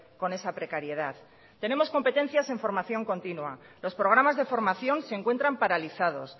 con esa precariedad tenemos competencias en formación continua los programas de formación se encuentran paralizados